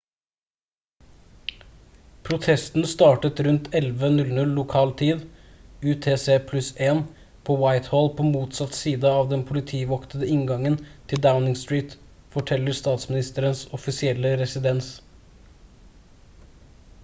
protesten startet rundt 11:00 lokal tid utc +1 på whitehall på motsatt side av den politivoktede inngangen til downing street forteller statsministerens offisielle residens